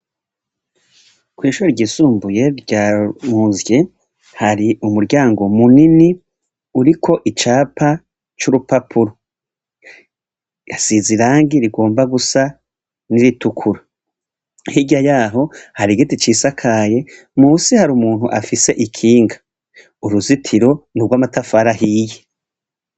kwishure ho ry'isumbuye ryanuzye hari umuryango munini uriko icapa c'urupapuro .Yasize irangi rigomba gusa n'iritukura hira yaho hari giti cisakaye musi hari umuntu afise ikinga uruzitiro ni rw'amatafara hiye.